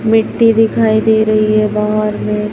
मिट्टी दिखाई दे रही है बाहर में।